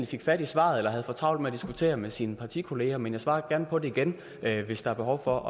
fik fat i svaret eller havde for travlt med at diskutere med sine partikolleger men jeg svarer gerne på det igen hvis der er behov for